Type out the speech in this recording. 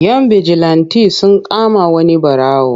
Yan bijilanti sun kama wani yaro.